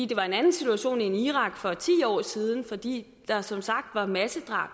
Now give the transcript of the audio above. det var en anden situation end i irak for ti år siden fordi der som sagt var massedrab